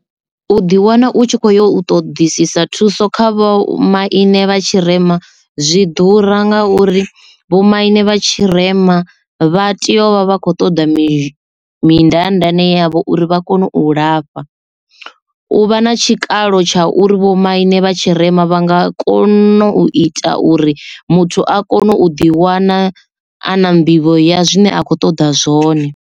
U ḓi wana u tshi kho yo ṱodisisa thuso kha vhomaine vha tshirema zwi ḓura nga uri vhomaine vha tshirema vha tea u vha vha kho ṱoḓa mi mindaandaane yavho uri vha kone u lafha u vha na tshikalo tsha uri vho maine vhatshirema vha nga kona u ita uri muthu a kone u ḓi wana ana nḓivho ya zwine a khou ṱoḓa zwone.